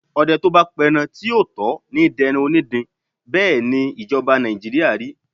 Ọdẹ tó bá pẹran tí ò tó ní dẹran onídin, bẹ́ẹ̀ ni ìjọba Nàìjíríà rí.